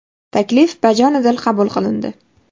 Taklif bajonidil qabul qilindi.